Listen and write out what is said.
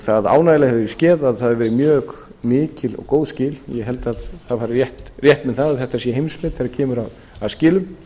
það ánægjulega hefur skeð að það hafa verið mjög mikil og góð skil ég held að ég fari rétt með að þetta sé heimsmet þegar kemur að skilum